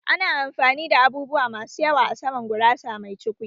Ana amfani da abubuwa masu yawa a saman gurasa mai cukwi